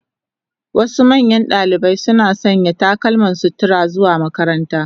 Wasu manyan dalibai suna sanya takalman sutura zuwa makaranta.